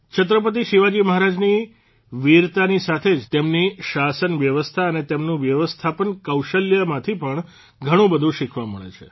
છત્રપતિ શિવાજી મહારાજની વિરતાની સાથે જ તેમની શાસન વ્યવસ્થા અને તેમનું વ્યવસ્થાપન કૌશલ્યમાંથી પણ ઘણુંબધું શીખવા મળે છે